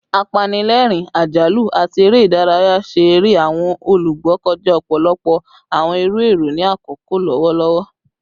Apanilẹrin, ajalu, ati ere idaraya ṣe ere awọn olugbo kọja ọpọlọpọ awọn iru ẹrọ ni akoko lọwọlọwọ